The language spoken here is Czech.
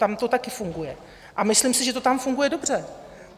Tam to taky funguje a myslím si, že to tam funguje dobře.